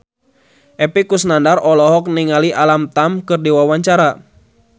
Epy Kusnandar olohok ningali Alam Tam keur diwawancara